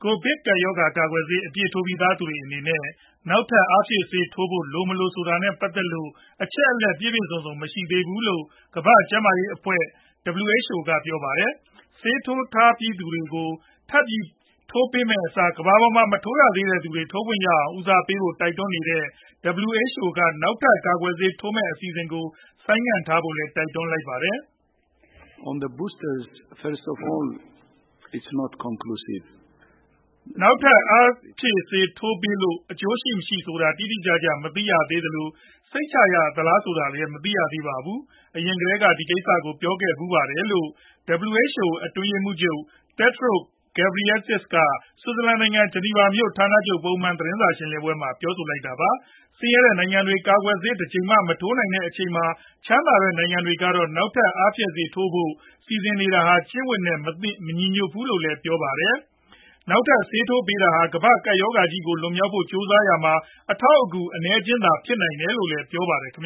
ိုဗစ်ရောဂါ ကာကွယ်ဆေး အပြည့်ထိုးပြီးသူတွေအတွက် နောက်ထပ် အားဖြည့်ဆေးထိုးပေးဖို့ လို၊ မလိုဆိုတာနဲ့ ပတ်သက်လို့ အချက်အလက် ပြည့်ပြည့်စုံစုံ မရှိသေးဘူးလို့ ကမ္ဘာ့ကျန်းမာရေးအဖွဲ့ (WHO) ကပြောပါတယ်။ ဆေးထိုးထားပြီးသားသူတွေကို ထပ်ထိုးပေးမယ့်အစား ကမ္ဘာပေါ်က မထိုးရသေးတဲ့သူတွေ ထိုးခွင့်ရအောင် ဦးစားပေးဖို့ တိုက်တွန်းနေတဲ့ WHO က နောက်ထပ် ကာကွယ်ဆေး ထိုးမယ့်အစီအစဉ်ကို ဆိုင်းထားဖို့လည်း တိုက်တွန်းနေတာပါ။ “နောက်ထပ် အားဖြည့်ဆေး ထပ်ထိုးပေးလို့ အကျိုးရှိမရှိဆိုတာ တိတိကျကျ မသိရသေးသလို၊ စိတ်ချရသလား ဆိုတာလည်း မသိရသေးပါဘူး။ အရင်ကတည်းကလည်း ဒီကိစ္စကို ပြောခဲ့ဖူးပါတယ်။” လို့ WHO အတွင်းရေးမှူးချုပ် Tedros Adhanom Ghebreyesus က ဆွစ်ဇာလန်နိုင်ငံ ဂျနီဗာမြို့ ဌာနချုပ်ပုံမှန်သတင်းစာရှင်းလင်းပွဲမှာ ပြောဆိုလိုက်တာပါ။ ဆင်းရဲတဲ့နိုင်ငံတွေ ကာကွယ်ဆေးတကြိမ်မှာ မထိုးနိုင်သေးတဲ့ အချိန်မှာ ချမ်းသာတဲ့နိုင်ငံတွေကတော့ နောက်ထပ် အားဖြည့် ဆေးတွေထိုးဖို့ စီစဉ်နေတာဟာ ကျင့်ဝတ်အရ မလုပ်သင့်ဘူးလို့လည်း ပြောပါတယ်။ နောက်ထပ် ဆေးထပ်ထိုးပေးတာဟာ ကမ္ဘာ့ကပ်ရောဂါဆိုးကြီးကို လွန်မြောက်ဖို့ ကြိုးစားရမှာ အထောက်အကူ အနည်းအကျဉ်းလောက်သာ ဖြစ်နိုင်တယ်လို့လည်း ပြောပါတယ်။ ဆင်